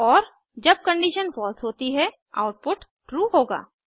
और जब condition false होती है आउटपुट ट्रू होगा